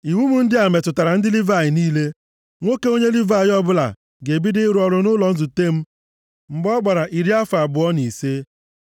“Iwu m ndị a metụtara ndị Livayị niile. Nwoke onye Livayị ọbụla ga-ebido ịrụ ọrụ nʼụlọ nzute m mgbe ọ gbara iri afọ abụọ na ise.